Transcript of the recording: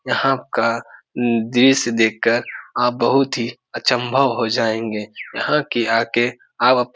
यहाँ का दृश्य देख कर आप बहुत ही अचंभव हो जायेगें यहाँ की आ के आप --